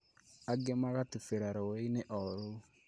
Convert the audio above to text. Angĩ magatubĩra rũũi-inĩ o rũu